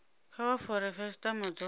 kha vha fare khasitama dzothe